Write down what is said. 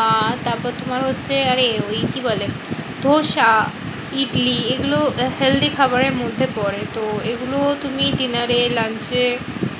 আর তারপর তোমার হচ্ছে আরে ওই কি বলে? ধোসা ইডলি এগুলো healthy খাবারের মধ্যে পরে। তো এগুলো তুমি dinner এ lunch এ